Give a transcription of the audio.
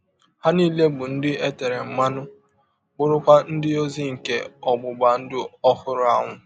Ha nile bụ ndị e tere mmanụ, bụrụkwa ndị ọzi nke ọgbụgba ndụ ọhụrụ ahụ.